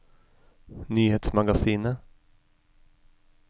nyhetsmagasinet